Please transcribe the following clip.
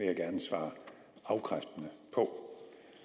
jeg gerne svare afkræftende på